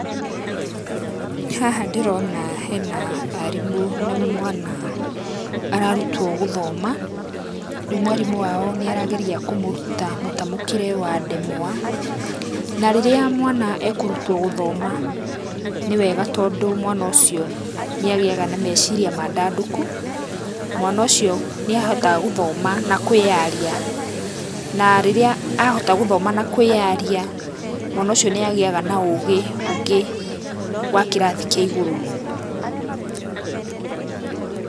Haha ndĩrona hena arimũ na mwana ararutwo gũthoma. Reu mwarimũ wao nĩ aragerĩa kũmũruta mũtamukĩre wa ndemwa na rĩrĩa mwana ekũrũtwo gũthoma nĩ wega tondũ mwana ũcio nĩ agĩaga na meciria mandandũku. Mwana ũcio nĩ ahotaga gũthoma na kwĩyaria na rĩrĩa ahota gũthoma na kwĩyaria, mwana ũcio nĩ agĩaga na ũgĩ ũngĩ wa kĩrathi kĩa igũrũ.